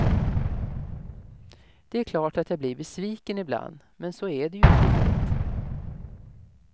Det är klart att jag blir besviken i bland, men så är det ju i livet.